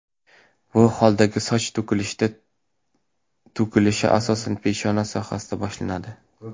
Bu holdagi soch to‘kilishida to‘kilishi asosan peshona sohasidan boshlanadi.